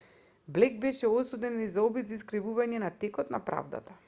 блејк беше осуден и за обид за искривување на текот на правдата